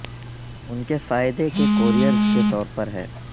ان کے فائدہ کے کوریئرز کے طور پر ہے